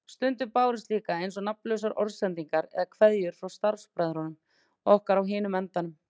Stundum bárust líka eins og nafnlausar orðsendingar eða kveðjur frá starfsbræðrum okkar á hinum endanum.